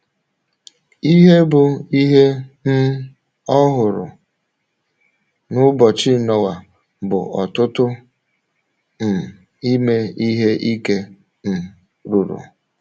Ihe bụ́ ihe um ọhụrụ n’ụbọchị Noa bụ ọ̀tụ̀tụ̀ um ime ihe ike um ruru.